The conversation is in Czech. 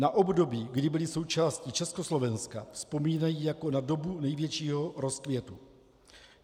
Na období, kdy byli součástí Československa, vzpomínají jako na dobu největšího rozkvětu.